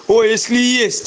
о если есть